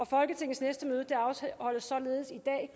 folketingets næste møde afholdes således i dag